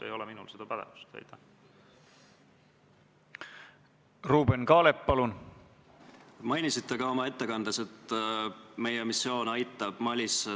Hääletustulemused Poolt hääletas 76 Riigikogu liiget, vastuolijaid ja erapooletuid ei ole.